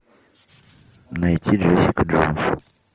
найти джессика джонс